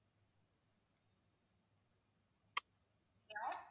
hello